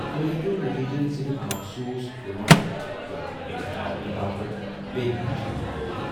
توہہِ ہیٚکِو نتیجن صِرف مخصوص قٕمتھ تہٕ ٰٲنكھ ہاونہٕ باپت بییہ ہن چھٲنہِ دِتھ ۔